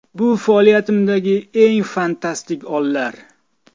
Bu faoliyatimdagi eng fantastik onlar.